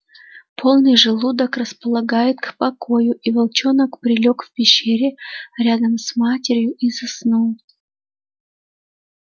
полный желудок располагает к покою и волчонок прилёг в пещере рядом с матерью и заснул